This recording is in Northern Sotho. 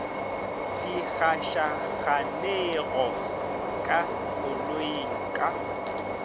di gašaganego ka koloing ka